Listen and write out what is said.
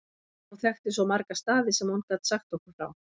Hún þekkti svo marga staði sem hún gat sagt okkur frá.